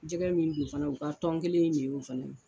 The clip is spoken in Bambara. Jɛgɛ min do fana u ka tɔn kelen in ne y'o fana ye.